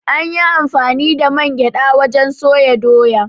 An yi amfani da man gyaɗa wajen soya Doya.